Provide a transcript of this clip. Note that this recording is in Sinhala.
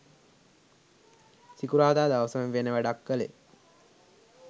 සිකුරාදා දවසම වෙන වැඩක් කලේ